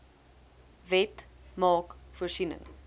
wet maak voorsiening